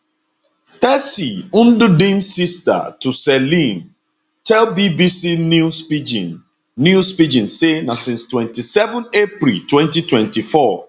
tessy ndudim sister to celine tell bbc news pidgin news pidgin say na since 27 april 2024